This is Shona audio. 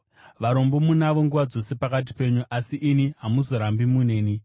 Varombo munavo nguva dzose pakati penyu, asi ini hamuzorambi muneni.”